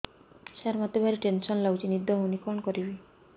ସାର ମତେ ଭାରି ଟେନ୍ସନ୍ ଲାଗୁଚି ନିଦ ହଉନି କଣ କରିବି